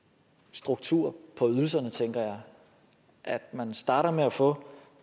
struktur på ydelserne tænker jeg at man starter med at få